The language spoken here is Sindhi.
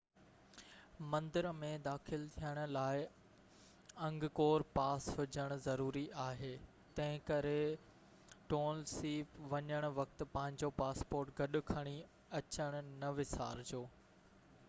مندر ۾ داخل ٿيڻ لاءِ انگڪور پاس هجڻ ضروري آهي تنهنڪري ٽونل سيپ وڃڻ وقت پنهنجو پاسپورٽ گڏ کڻي اچڻ نہ وسارجو